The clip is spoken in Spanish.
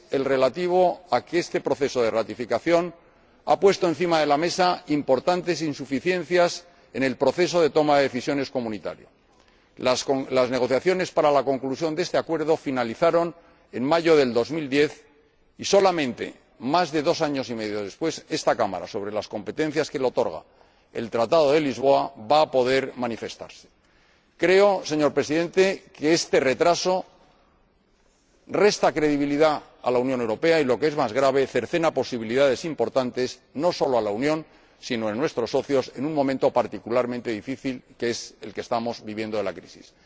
En primer lugar, este proceso de ratificación ha puesto sobre la mesa importantes insuficiencias en el proceso de toma de decisiones de la UE las negociaciones para la conclusión de este Acuerdo finalizaron en mayo de 2010 y, solamente, más de dos años y medio después, esta Cámara, en virtud de las competencias que le otorga el Tratado de Lisboa, va a poder manifestarse. Creo, señor Presidente, que este retraso resta credibilidad a la Unión Europea y, lo que es más grave, cercena posibilidades importantes, no solo a la Unión, sino también a nuestros socios, en un momento particularmente difícil como el que estamos viviendo con la crisis.